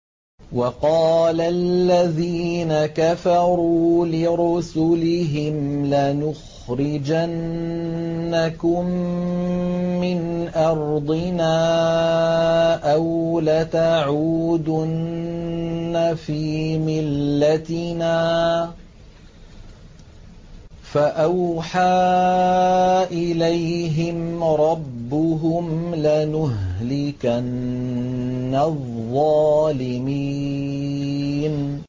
وَقَالَ الَّذِينَ كَفَرُوا لِرُسُلِهِمْ لَنُخْرِجَنَّكُم مِّنْ أَرْضِنَا أَوْ لَتَعُودُنَّ فِي مِلَّتِنَا ۖ فَأَوْحَىٰ إِلَيْهِمْ رَبُّهُمْ لَنُهْلِكَنَّ الظَّالِمِينَ